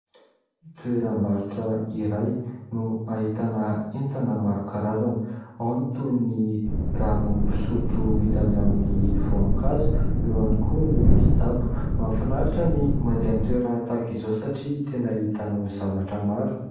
Toeram-barotra iray no ahitana entana maro karazana: ao ny toin' ny ranom-pisotro vita avy amin' ny voankazo, eo ihany koa ny kitapo. Mahafinaritra ny mandeha amin' ny toerana tahaka izao satria tena ahitanao misy zavatra maro.